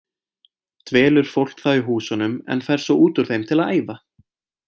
Dvelur fólk þá í húsunum en fer svo út úr þeim til að æfa.